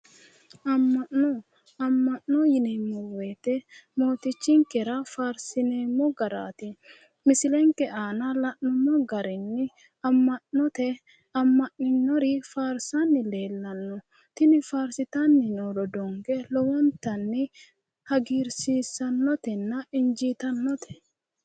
Amma'no. Amma'no yineemmo woyite mootichinkera faarsineemmo garaati. Misilenke aana la'nummo garinni amma'note amma'ninnori faarsanni leellanno. Tini faarsitanni noo rodoonke lowontanni hagiirsiissannotenna injiitannote.